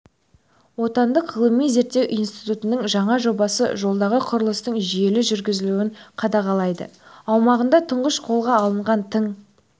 отандық ғылыми зерттеу институтының жаңа жобасы жолдағы құрылыстың жүйелі жүргізілуін қадағалайды аумағында тұңғыш қолға алынған тың